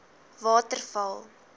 waterval